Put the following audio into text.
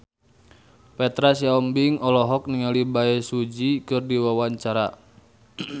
Petra Sihombing olohok ningali Bae Su Ji keur diwawancara